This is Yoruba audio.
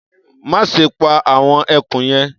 Má ṣe pa àwọn ẹkùn yẹn.